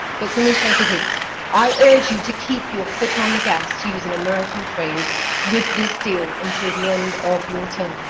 Commissioner De Gucht, I urge you to keep your foot on the gas to use an American phrase with this deal until the end of your term.